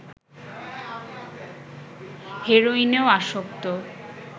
হেরোইনেও আসক্ত